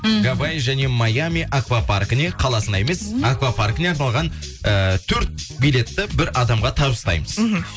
мхм гавай және маями аквапаркіне қаласына емес аквапаркіне арналған ы төрт билетті бір адамға табыстаймыз мхм